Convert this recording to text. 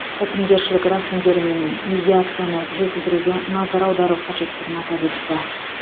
бітімгершілік рәсімдері мен медиацияны жетілдіруге назар аудару қажеттігін атап өтті